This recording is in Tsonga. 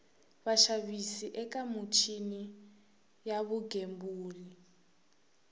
vaxavis eka michini ya vugembuli